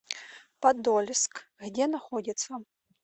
подольск где находится